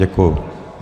Děkuji.